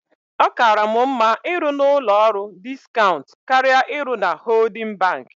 Ọ kaara mụ mma ịrụ n'ụlọ ọrụ diskaunt karịa ịrụ na hoodin banki.